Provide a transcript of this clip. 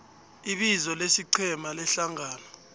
ibizo lesiqhema lehlangano